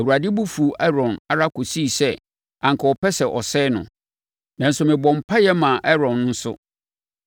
Awurade bo fuu Aaron ara kɔsii sɛ anka ɔpɛ sɛ ɔsɛe no. Nanso, mebɔɔ mpaeɛ maa Aaron nso.